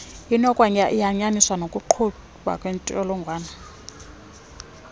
inokwayanyaniswa nokugquba kwentshjolongwane